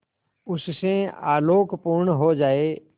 उससे आलोकपूर्ण हो जाए